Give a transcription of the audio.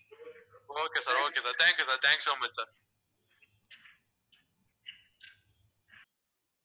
okay sir okay sir thank you sir thank you so much sir